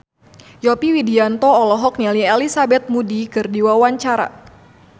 Yovie Widianto olohok ningali Elizabeth Moody keur diwawancara